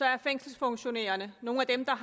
er fængselsfunktionærerne nogle af dem der